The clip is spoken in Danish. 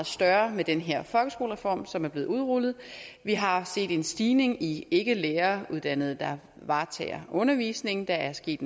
større med den her folkeskolereform som er blevet udrullet vi har set en stigning i ikkelæreruddannede der varetager undervisningen der er sket